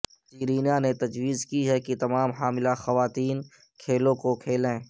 Serena نے تجویز کی ہے کہ تمام حاملہ خواتین کھیلوں کو کھیلیں